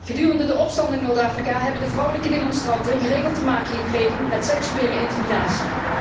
Gedurende de opstand in Noord Afrika hebben de vrouwelijke demonstranten geregeld te maken gekregen met seksuele intimidatie.